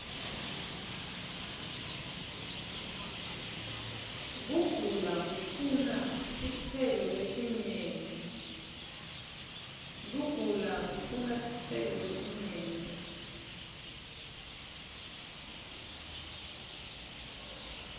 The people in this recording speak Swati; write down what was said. kugula kufuna titselo ietinyenti